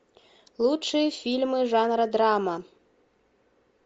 лучшие фильмы жанра драма